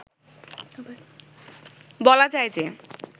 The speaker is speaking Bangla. বলা যায় যে